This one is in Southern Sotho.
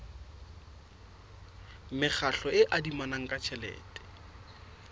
mekgatlo e adimanang ka tjhelete